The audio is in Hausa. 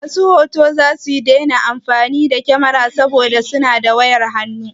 Masu hoto zasu daina damuwa da sayan kamara saboda za su iya amfani da waya.